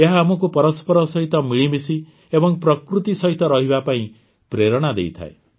ଏହା ଆମକୁ ପରସ୍ପର ସହିତ ମିଳିମିଶି ଏବଂ ପ୍ରକୃତି ସହିତ ରହିବା ପାଇଁ ପ୍ରେରଣା ଦେଇଥାଏ